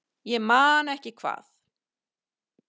Ég man ekki hvað